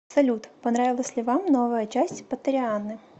салют понравилась ли вам новая часть поттерианы